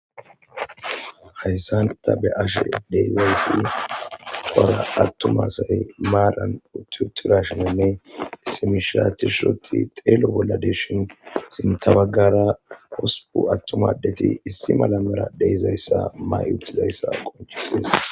Hayssanta be ashe deezayssi coura attumasay maaran ututirashenenne simishiratishoti xeelo bolla deshin sintabagara hosupu attumaddeti issi malamera deyzayssa may utizayssa qonchisees.